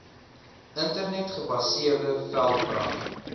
internet gebaseerde veldbrand